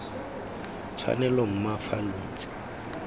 tshwanelo mma fa lo ntse